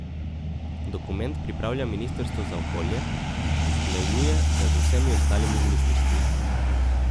Dokument pripravlja ministrstvo za okolje, usklajuje ga z vsemi ostalimi ministrstvi.